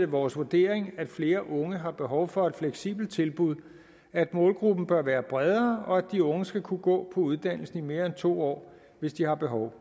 vores vurdering at flere unge har behov for et fleksibelt tilbud at målgruppen bør være bredere og at de unge skal kunne gå på uddannelsen i mere end to år hvis de har behov